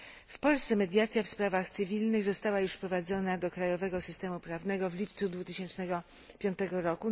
W Polsce mediacja w sprawach cywilnych została juz wprowadzona do krajowego systemy prawnego w lipcu 2005 r.